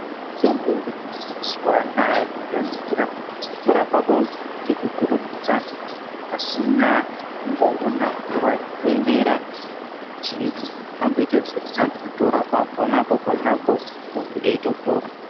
Mitombo yemazuva anaya, ndinoidira kuti inorapa muntu ngekukurumidza pasina kumboona nguwa yekuemera kuti amboita zvirinani, inotorapa ponapo ponapo muntu eitopora.